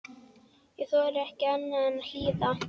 Ég þorði ekki annað en að hlýða.